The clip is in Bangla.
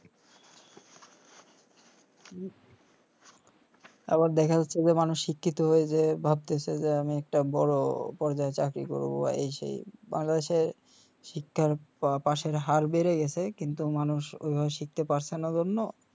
আবার দেখা যাচ্ছে যে মানুষ শিক্ষিত হয়ে যে ভাবতেসে যে আমি একটা বড় পর্যায়ে চাকরি করব বা এই সেই বাংলাদেশের শিক্ষার পাশের হার বেড়ে গেসে কিন্তু মানুষ ঐভাবে শিখতে পারসে না জন্য